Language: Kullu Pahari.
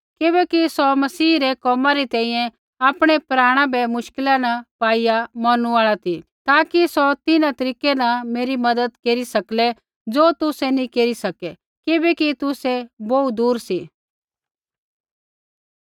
किबैकि सौ मसीह रै कोमा री तैंईंयैं आपणै प्राण भी मुश्किला न पाईआ मौरनु आल़ा ती ताकि सौ तिन्हां तरीकै न मेरी मज़त केरी सकलै ज़ो तुसै नी केरी सकै किबैकि तुसै बोहू दूर सी